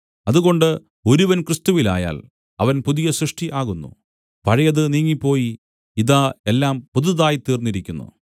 അതുകൊണ്ട് ഒരുവൻ ക്രിസ്തുവിലായാൽ അവൻ പുതിയ സൃഷ്ടി ആകുന്നു പഴയത് നീങ്ങിപ്പോയി ഇതാ എല്ലാം പുതുതായിത്തീർന്നിരിക്കുന്നു